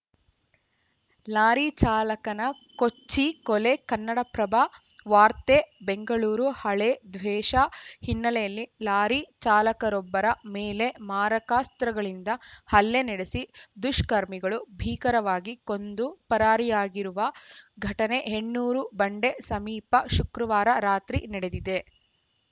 lorry ಚಾಲಕನ ಕೊಚ್ಚಿ ಕೊಲೆ ಕನ್ನಡಪ್ರಭ ವಾರ್ತೆ ಬೆಂಗಳೂರು ಹಳೇ ದ್ವೇಷ ಹಿನ್ನೆಲೆಯಲ್ಲಿ ಲಾರಿ ಚಾಲಕರೊಬ್ಬರ ಮೇಲೆ ಮಾರಕಾಸ್ತ್ರಗಳಿಂದ ಹಲ್ಲೆ ನಡೆಸಿ ದುಷ್ಕರ್ಮಿಗಳು ಭೀಕರವಾಗಿ ಕೊಂದು ಪರಾರಿಯಾಗಿರುವ ಘಟನೆ ಹೆಣ್ಣೂರು ಬಂಡೆ ಸಮೀಪ ಶುಕ್ರವಾರ ರಾತ್ರಿ ನಡೆದಿದೆ